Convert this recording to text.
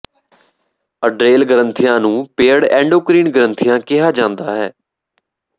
ਅਡਰੇਲ ਗ੍ਰੰਥੀਆਂ ਨੂੰ paired endocrine ਗ੍ਰੰਥੀਆਂ ਕਿਹਾ ਜਾਂਦਾ ਹੈ